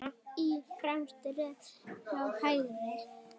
Í fremstu röð frá hægri